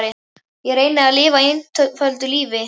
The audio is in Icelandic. Ég reyni að lifa einföldu lífi.